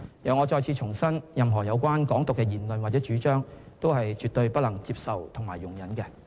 我再次重申，任何有關"港獨"的言論或主張，都是絕對不能接受和容忍的。